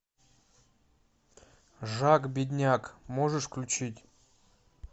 жак бедняк можешь включить